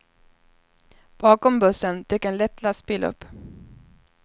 Bakom bussen dök en lätt lastbil upp.